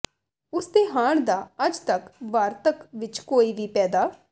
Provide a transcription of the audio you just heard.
ਉਸਦੇ ਹਾਣ ਦਾ ਅੱਜ ਤੱਕ ਵਾਰਤਕ ਵਿਚ ਕੋਈ ਵੀ ਪੈਦਾ